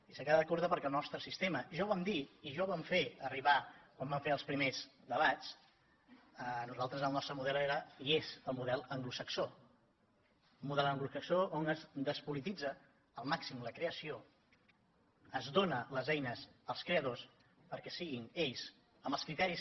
i s’ha quedat curta perquè el nostre sistema ja ho vam dir i ja ho vam fer arribar quan vam fer els primers debats per nosaltres el nostre model era i és el model anglosaxó un model anglosaxó on es despolititza al màxim la creació es donen les eines als creadors perquè siguin ells amb els criteris